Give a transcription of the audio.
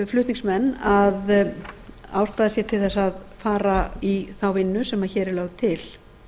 flutningsmenn að ástæða sé til þess að fara í þá vinnu sem hér er lögð til